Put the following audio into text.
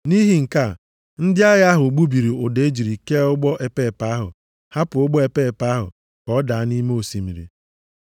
Nʼihi nke a, ndị agha ahụ gbubiri ụdọ e jiri kee ụgbọ epeepe ahụ hapụ ụgbọ epeepe ahụ ka ọ daba nʼime osimiri.